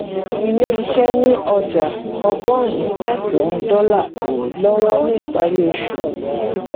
ilé iṣẹ ni ọjà ọgọrùn mẹsan dọlà lọwọ ni ìpárí oṣù